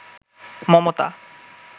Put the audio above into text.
Mamata